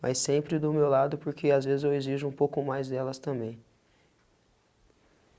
Mas sempre do meu lado, porque às vezes eu exijo um pouco mais delas também.